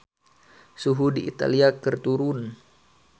Suhu di Italia keur turun